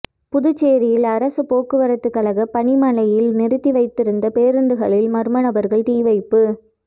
புதுச்சேரியில் அரசு போக்குவரத்துக் கழக பணிமனையில் நிறுத்தி வைத்திருந்த பேருந்துகளில் மர்ம நபர்கள் தீ வைப்பு